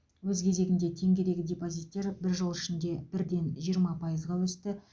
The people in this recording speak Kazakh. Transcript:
өз кезегінде теңгедегі депозиттер бір жыл ішінде бірден жиырма пайызға өсті